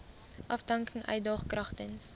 afdanking uitdaag kragtens